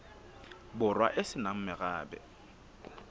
borwa e se nang morabe